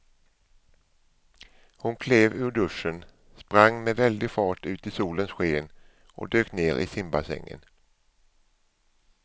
Hon klev ur duschen, sprang med väldig fart ut i solens sken och dök ner i simbassängen.